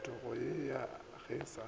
phetogo ye ga se ya